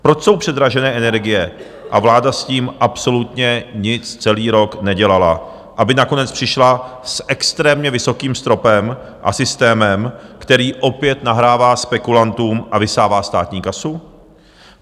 Proč jsou předražené energie a vláda s tím absolutně nic celý rok nedělala, aby nakonec přišla s extrémně vysokým stropem a systémem, který opět nahrává spekulantům a vysává státní kasu?